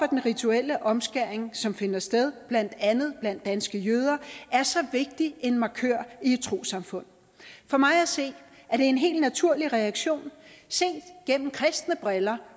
den rituelle omskæring som finder sted blandt andet blandt danske jøder er så vigtig en markør i et trossamfund for mig at se er det en helt naturlig reaktion set gennem kristne briller